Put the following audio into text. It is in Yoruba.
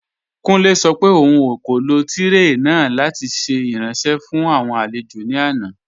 Kùnlẹ̀ sọ̀ pé ọ̀un kò lọ tirẹé náà lati ṣẹ̀ iranṣẹ̀ fún awọn alẹ̀jọ̀ ní àná.